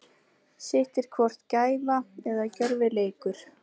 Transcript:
Sitt er hvort gæfa eða gjörvileikur.